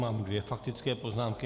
Mám dvě faktické poznámky.